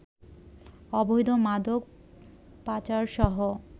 অবৈধ মাদক পাচারসহ